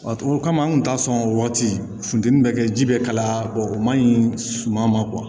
O kama an kun t'a sɔn o waati funtɛni bɛ kɛ ji bɛ kalaya bɔ o man ɲi suman ma